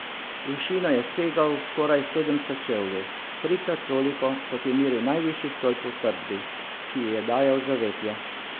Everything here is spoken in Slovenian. V višino je segal skoraj sedemsto čevljev, trikrat toliko, kot je meril najvišji stolp v utrdbi, ki ji je dajal zavetje.